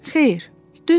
Xeyr, düz demir.